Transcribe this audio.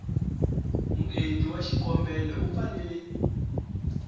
muendli wa xikombelo u fanele